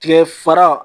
Tigɛ fara